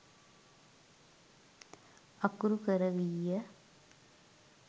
අකුරු කරවීය.